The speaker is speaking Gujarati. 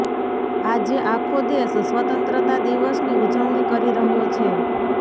આજે આખો દેશ સ્વતંત્રતા દિવસની ઉજવણી કરી રહ્યો છે